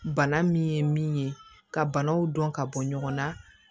Bana min ye min ye ka banaw dɔn ka bɔ ɲɔgɔnna